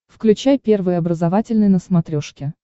включай первый образовательный на смотрешке